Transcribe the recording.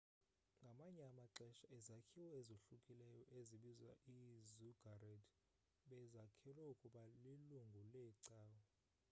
ngamanye amaxesha izakhiwo ezohlukileyo ezibizwa ii-ziggurat bezakhelwe ukuba lilungu leecawa